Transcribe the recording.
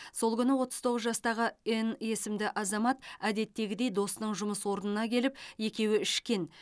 сол күні отыз тоғыз жастағы н есімді азамат әдеттегідей досының жұмыс орнына келіп екеуі ішкен